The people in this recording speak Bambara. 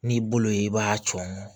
N'i bolo ye i b'a cɔ